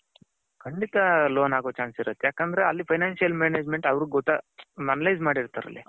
ಖಂಡಿತ loan ಅಗೋ chance ಇರುತೆ ಯಾಕಂದ್ರೆ ಅಲ್ಲಿ financial management ಅವರ್ಗು analyze ಮಾಡಿರ್ತಾರೆ ಅಲ್ಲಿ